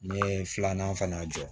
N ye filanan fana jɔ